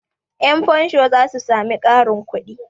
Yanfansho za su sami ƙarin kudi.